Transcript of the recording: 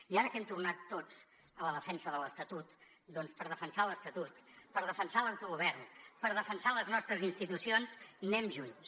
i ara que hem tornat tots a la defensa de l’estatut doncs per defensar l’estatut per defensar l’autogovern per defensar les nostres institucions anem junts